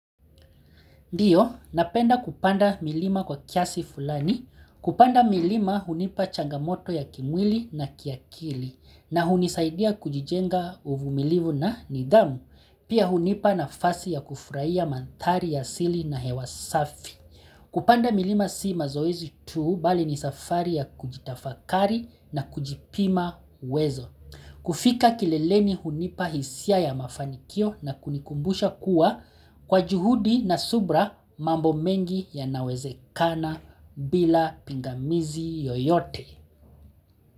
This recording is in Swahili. Ndiyo, napenda kupanda milima kwa kiasi fulani, kupanda milima hunipa changamoto ya kimwili na kiakili, na hunisaidia kujijenga uvumilivu na nidhamu, pia hunipa nafasi ya kufurahia mandhari ya asili na hewa safi. Kupanda milima si mazoezi tu bali ni safari ya kujitafakari na kujipima uwezo. Kufika kileleni hunipa hisia ya mafanikio na kunikumbusha kuwa kwa juhudi na subira mambo mengi yanawezekana bila pingamizi yoyote.